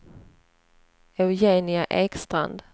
Eugenia Ekstrand